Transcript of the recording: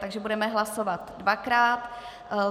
Takže budeme hlasovat dvakrát.